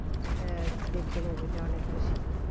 আহ দেখতে movie টা অনেক বেশি